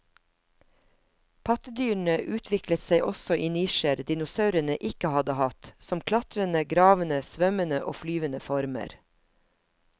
Pattedyrene utviklet seg også i nisjer dinosaurene ikke hadde hatt, som klatrende, gravende, svømmende og flyvende former.